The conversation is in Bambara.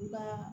I ka